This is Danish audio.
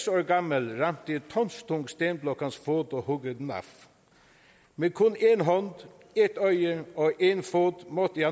år gammel ramte en tonstung stenblok hans fod og huggede den af med kun én hånd ét øje og én fod måtte